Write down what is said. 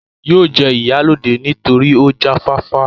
yóò jẹ ìyálóde nítorí ó jáfáfá